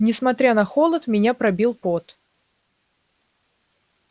несмотря на холод меня пробил пот